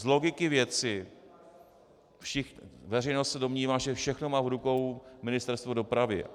Z logiky věci veřejnost se domnívá, že všechno má v rukou Ministerstvo dopravy.